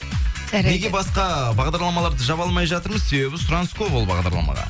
жарайды неге басқа бағдарламаларды жаба алмай жатырмыз себебі сұраныс көп ол бағдарламаға